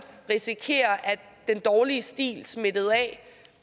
risikere at den dårlige stil smittede af